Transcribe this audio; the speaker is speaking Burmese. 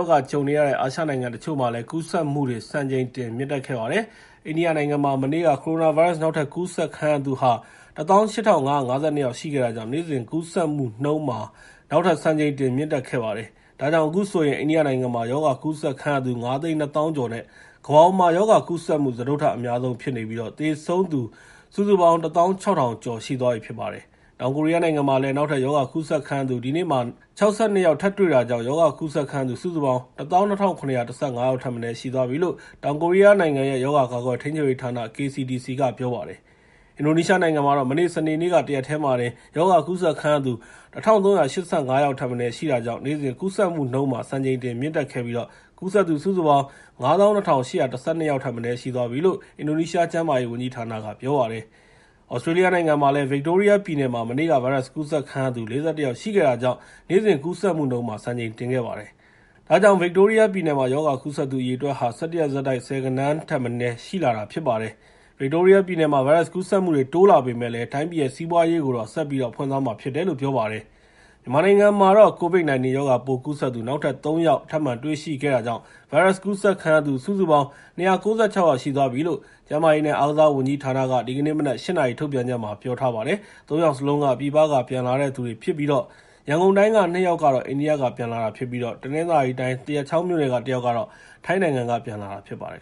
ောဂါနဲ့ ကြုံနေရတဲ့ အာရှနိုင်ငံတချို့မှာ ကူးစက်မှုတွေ စံချိန်တင် မြင့်တက်နေပါတယ်။ အိန္ဒိယနိုင်ငံမှာ မနေ့က ကိုရိုနာဗိုင်းရပ်စ် နောက်ထပ်ကူးစက်ခံရသူ ၁၈,၅၅၂ ယောက် ရှိခဲ့တာကြောင့် နေ့စဉ်ကူးစက်မှုနှုန်းမှာ နောက်ထပ် စံချိန်တင် မြင့်တက်ခဲ့ပါတယ်။ ဒါကြောင့် အခုဆိုရင် အိန္ဒိယနိုင်ငံမှာ ရောဂါကူးစက်ခံရသူ ၅၂၀,၀၀၀ ကျော်နဲ့ ကမ္ဘာပေါ်မှာ ရောဂါကူးစက်မှု စတုတ္ထအများဆုံးဖြစ်နေပြီး သေဆုံးသူ စုစုပေါင်း ၁၆,၀၀၀ ကျော် ရှိသွားပါပြီ။ တောင်ကိုရီးယားနိုင်ငံမှာတော့ ဒီနေ့မှာ နောက်ထပ်ရောဂါကူးစက်ခံရသူ ၆၂ ယောက် တွေ့ရှိတာကြောင့် ရောဂါကူးစက်ခံရသူ စုစုပေါင်း ၁၂,၇၁၅ ယောက်ထက်မနည်း ရှိသွားပြီလို့ တောင်ကိုရီးယားနိုင်ငံရဲ့ ရောဂါကာကွယ်ထိန်းချုပ်ရေးဌာန (KCDC) က ပြောပါတယ်။ အင်ဒိုနီးရှားနိုင်ငံမှာတော့ မနေ့ စနေနေ့က ရောဂါကူးစက်ခံရသူ ၁,၃၈၅ ယောက်ထက်မနည်း ရှိခဲ့တာကြောင့် နေ့စဉ် ကူးစက်မှုနှုန်းမှာ စံချိန်တင်မြင့်တက်ခဲ့ပြီး ကူးစက်သူ ၅၂,၈၁၂ ယောက်ထက်မနည်း ရှိသွားပြီလို့ အင်ဒိုနီးရှား ကျန်းမာရေးဝန်ကြီးဌာနက ပြောပါတယ်။ သြစတြေးလျနိုင်ငံမှာလည်း ဗစ်တိုးရီးယားပြည်နယ်မှာ မနေ့က ဗိုင်းရပ်စ်ကူးစက်ခံရသူ ၄၁ ယောက် ရှိခဲ့တာကြောင့် နေ့စဉ်ကူးစက်မှုနှုန်းမှာ စံချိန်တင်ခဲ့ပါတယ်။ ဒါကြောင့် ဗစ်တိုးရီးယားပြည်နယ်မှာ ရောဂါကူးစက်သူ အရေအတွက်ဟာ ၁၁ ရက်ဆက်တိုက် ဆယ်ဂဏန်းထက်မနည်း ရှိလာတာ ဖြစ်ပါတယ်။ ဗစ်တိုးရီးယားပြည်နယ်မှာ ဗိုင်းရပ်စ်ကူးစက်မှုတွေ တိုးလာပေမယ့်လည်း တိုင်းပြည်ရဲ့ စီးပွားရေးကိုတော့ ဆက်ပြီး ဖွင့်သွားမှာဖြစ်တယ်လို့ ပြောပါတယ်။ မြန်မာနိုင်ငံမှာ COVID-19 ရောဂါပိုးကူးစက်သူ နောက်ထပ် ၃ ယောက် ထပ်မံတွေ့ရှိခဲ့တာကြောင့် ဗိုင်းရပ်စ်ကူးစက်ခံရသူ စုစုပေါင်း ၂၉၆ ယောက် ရှိသွားပြီလို့ ကျန်းမာရေးနဲ့ အားကစားဝန်ကြီးဌာနက ဒီကနေ့မနက် ၈ နာရီ ထုတ်ပြန်ချက်မှာ ပြောထားပါတယ်။ ၃ ယောက်စလုံးက ပြည်ပက ပြန်လာတဲ့သူတွေဖြစ်ပြီး ရန်ကုန်တိုင်းက ၂ ယောက်ကတော့ အိန္ဒိယက ပြန်လာတာဖြစ်ပြီး တနင်္သာရီတိုင်း သရက်ချောင်းမြို့နယ်က တယောက်ကတော့ ထိုင်းနိုင်ငံက ပြန်လာတာဖြစ်ပါတယ်